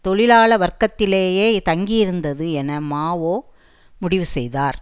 தொழிலாள வர்க்கத்திலேயே தங்கியிருந்தது என மா ஓ முடிவு செய்தார்